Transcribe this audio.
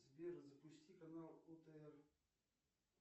сбер запусти канал отр